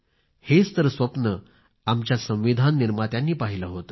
हेच तर स्वप्न आमच्या संविधान निर्मात्यांनी पाहिलं होतं